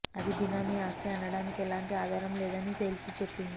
అది బినామీ ఆస్తి అనడానికి ఎలాంటి ఆధారం లేదని తేల్చి చెప్పింది